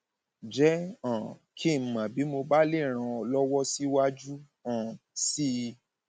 jẹ um kí n mọ bí mo bá lè ràn ọ lọwọ síwájú um sí i